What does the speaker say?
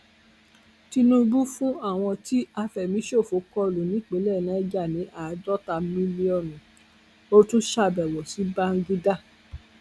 tinúbú fún àwọn tí àfẹmíṣòfò kọlù nípìnlẹ niger ní àádọta mílíọnù ó tún ṣàbẹwò sí bàǹgídá